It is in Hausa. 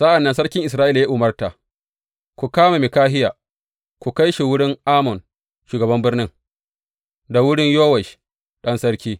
Sa’an nan sarkin Isra’ila ya umarta, Ku kama Mikahiya, ku kai shi wurin Amon, shugaban birnin, da wurin Yowash ɗan sarki.